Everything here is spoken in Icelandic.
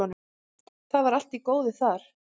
Það var allt í góðu þar.